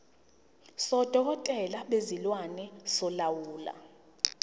sodokotela bezilwane solawulo